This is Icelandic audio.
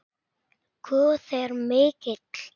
Guð er mikill.